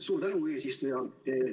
Suur tänu, eesistuja!